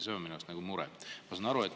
See on minu arust mure.